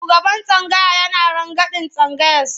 Shugaban tsangaya yana rangadin tsangayarsa.